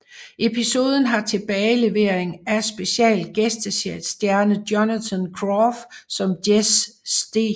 Episoden har tilbagelevering af special gæstestjerne Jonathan Groff som Jesse St